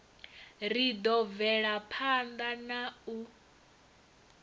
ri ḓo bvelaphanḓa na u